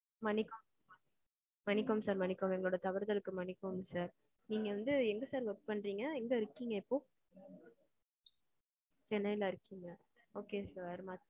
மன்னிக்கவும் மன்னிக்கவும் sir மன்னிக்கவும். எங்களோட தவறுகளுக்கு மன்னிக்கவும் sir. நீங்க வந்து எங்க sir work பண்றீங்க? எங்க இருக்கீங்க இப்போ? சென்னைல இருக்கீங்க okay sir.